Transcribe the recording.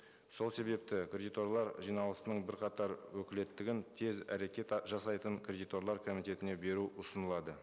сол себепті кредиторлар жиналысының бірқатар өкілеттігін тез әрекет жасайтын кредиторлар комитетіне беру ұсынылады